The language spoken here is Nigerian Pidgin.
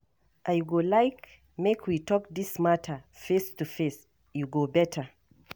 I go like make we talk this matter face to face, e go better.